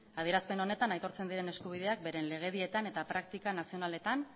adierazpen honetan aitortzen diren eskubideak beren legedietan eta praktika nazionaletan